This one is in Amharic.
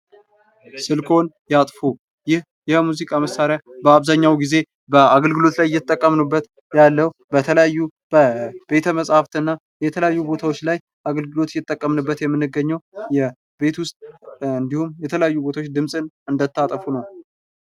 ስልኮን ያጥፉ! ይህ የሙዚቃ መሳሪያ በአብዛኛው ጊዜ በአገልግሎት ላይ እየተጠቀምንበት ያለው አገልግሎ በተለያዩ በቤተ መጻፍት እና በተለያዩ ቦታዎች ላይ እየተጠቀምን የምንገኘው ቤት ውስጥ የተለያዩ ቦታዎች ድምጽን እንታጠፉ ነው።